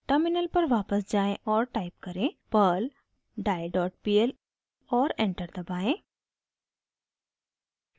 terminal पर वापस जाएँ और टाइप करें: perl die dot pl और एंटर दबाएं